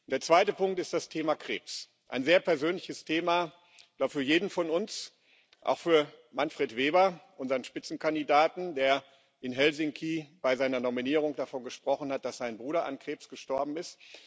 Der zweite Punkt ist das Thema Krebs ein sehr persönliches Thema für jeden von uns, auch für Manfred Weber, unseren Spitzenkandidaten, der in Helsinki bei seiner Nominierung davon gesprochen hat, dass sein Bruder an Krebs gestorben ist.